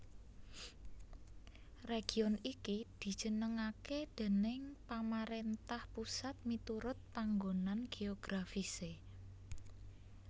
Région iki dijenengaké déning pamaréntah pusat miturut panggonan geografisé